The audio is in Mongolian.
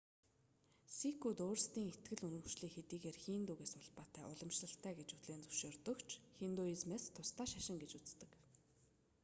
сикүүд өөрсдийн итгэл үнэмшлийг хэдийгээр хиндугээс улбаатай уламжлалтай гэж хүлээн зөвшөөрдөг ч хиндуизмээс тусдаа шашин гэж үздэг